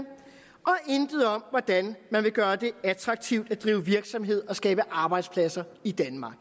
intet om hvordan man vil gøre det attraktivt at drive virksomhed og skaber arbejdspladser i danmark